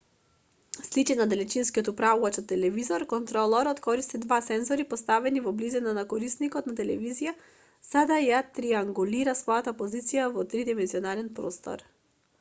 сличен на далечинскиот управувач од телевизорот контролорот користи два сензори поставени во близина на корисникот на телевизијата за да ја триангулира својата позиција во три димензионални простор